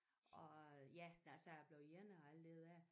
Og øh ja da jeg så blev ene og alt det der